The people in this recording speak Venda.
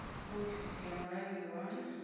kha ofisi ya mulangi wa